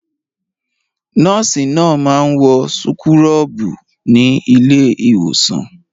Nọ́ọ́sì náà máa ń wọ súkúrọ́bù ní ilé-ìwòsàn.